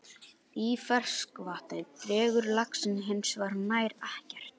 Í ferskvatni drekkur laxinn hins vegar nær ekkert.